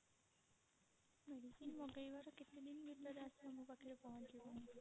medicine ମଗେଇବାର କେତେ ଦିନ ଭିତରେ ଆସିକି ଆମ ପାଖରେ ପହଞ୍ଚିବ?